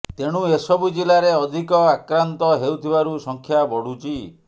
ତେଣୁ ଏସବୁ ଜିଲାରେ ଅଧିକ ଆକ୍ରନ୍ତ ହେଉଥିବାରୁ ସଂଖ୍ୟା ବଡୁଛି